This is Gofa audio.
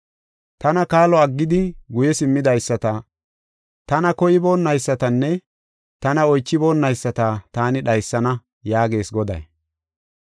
Tana kaalo aggidi guye simmidaysata, tana koyboonaysatanne tana oychiboonayisata taani dhaysana” yaagees Goday.